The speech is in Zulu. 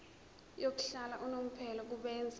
yokuhlala unomphela kubenzi